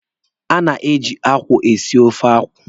A na-eji akwụ esi ofe akwụ.